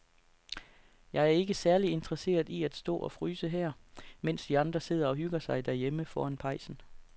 Jeg er ikke særlig interesseret i at stå og fryse her, mens de andre sidder og hygger sig derhjemme foran pejsen.